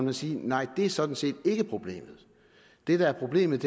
at sige nej det er sådan set ikke problemet det der er problemet